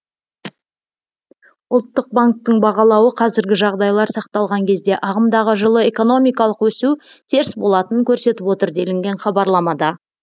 ұлттық банктің бағалауы қазіргі жағдайлар сақталған кезде ағымдағы жылы экономикалық өсу теріс болатынын көрсетіп отыр делінген хабарламада